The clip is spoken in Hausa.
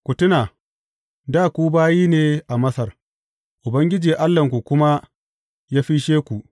Ku tuna, dā ku bayi ne a Masar, Ubangiji Allahnku kuma ya fisshe ku.